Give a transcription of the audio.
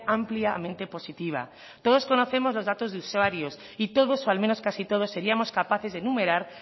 ampliamente positiva todos conocemos los datos de usuarios y todos o al menos casi todos seríamos capaces de enumerar